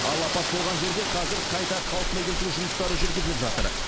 ал апат болған жерде қазір қайта қалпына келтіру жұмыстары жүргізіліп жатыр